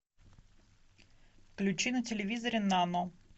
включи на телевизоре нано